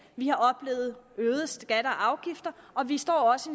vi har oplevet øgede skatter og afgifter og vi står også